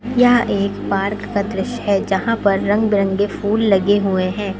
यह एक पार्क का दृश्य है जहां पर रंग बिरंगे फूल लगे हुए हैं।